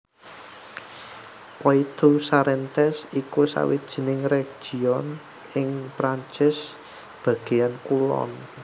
Poitou Charentes iku sawijining région ing Perancis bagéan kulon